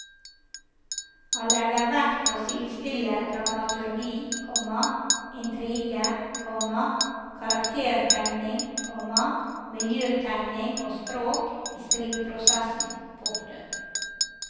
Han legger vekt på å sidestille dramaturgi, komma intrige, komma karaktertegning, komma miljøtegning og språk i skriveprosessen. punktum